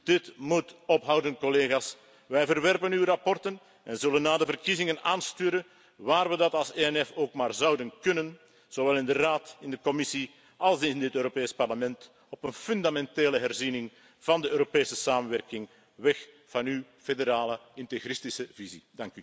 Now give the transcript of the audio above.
Dit moet ophouden, collega's. Wij verwerpen uw verslagen en zullen na de verkiezingen aansturen, waar we dat als ENF ook maar zouden kunnen, zowel in de Raad, in de Commissie als in dit Europees Parlement, op een fundamentele herziening van de Europese samenwerking, weg van uw federale integristische visie.